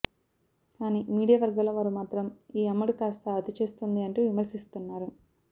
కాని మీడియా వర్గాల వారు మాత్రం ఈ అమ్మడు కాస్త అతి చేస్తోంది అంటూ విమర్శిస్తున్నారు